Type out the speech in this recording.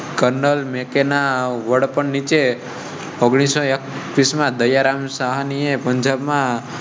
Kernel Mackay ના વડપણ નીચે. ઓગણીસ એકવીસ માં દયારામ સાહ ની પંજાબ માં